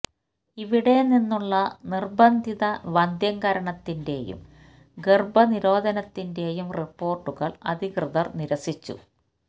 ഇവിടെ നിന്നുള്ള നിര്ബന്ധിത വന്ധ്യംകരണത്തിന്റെയും ഗര്ഭ നിരോധനത്തിന്റെയും റിപ്പോര്ട്ടുകള് അധകൃതര് നിരസിച്ചു